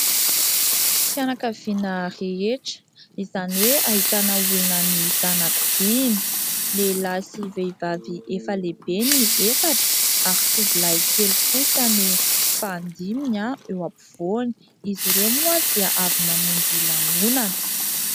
Fianankaviana rehetra, izany hoe ahitana olona mihisa anakidimy, lehilahy sy vehivavy efa lehibe ny efatra ary tovolahy kely kosa no fahadiminy eo ampivoany, izy ireo moa dia avy namonjy lanonana.